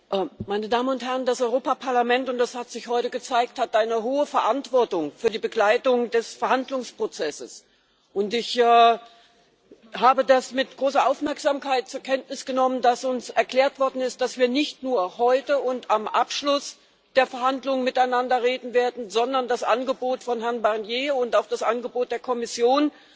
Herr Präsident, meine Damen und Herren! Das Europäische Parlament und das hat sich heute gezeigt hat eine hohe Verantwortung für die Begleitung des Verhandlungsprozesses, und ich habe mit großer Aufmerksamkeit zur Kenntnis genommen, dass uns erklärt worden ist, dass wir nicht nur heute und am Abschluss der Verhandlungen miteinander reden werden, sondern das Angebot von Herrn Barnier und auch das Angebot der Kommission